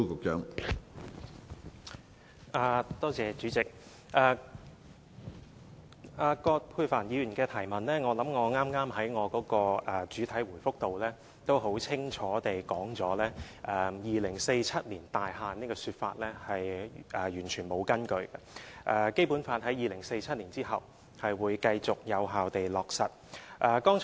主席，就着葛珮帆議員的補充質詢，我想我剛才在主體答覆內已經很清楚地指出 ，"2047 年大限"這種說法是完全沒有根據的，《基本法》在2047年後將會繼續有效地落實。